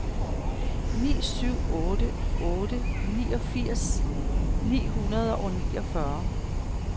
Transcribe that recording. ni syv otte otte niogfirs ni hundrede og niogfyrre